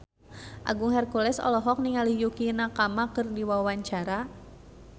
Agung Hercules olohok ningali Yukie Nakama keur diwawancara